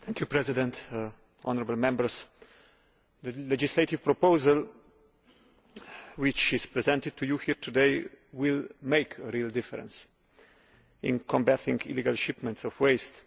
Mr President, honourable Members, the legislative proposal which is presented to you here today will make a real difference in combating illegal shipments of waste.